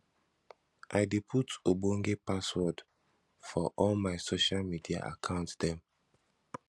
i dey put ogbonge password for all my social media account dem